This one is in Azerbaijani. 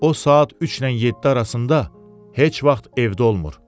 o saat 3-lə 7 arasında heç vaxt evdə olmur.